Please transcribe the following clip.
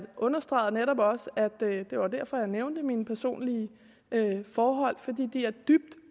understregede netop også at det var derfor jeg nævnte mine personlige forhold fordi de er dybt